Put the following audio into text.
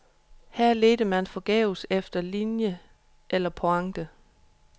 Her ledte man forgæves efter linje eller pointe.